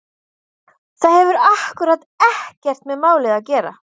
Það hefur akkúrat ekkert með málið að gera!